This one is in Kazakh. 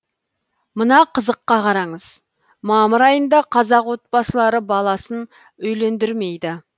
мына қызыққа қараңыз мамыр айында қазақ отбасылары баласын үйлендірмейді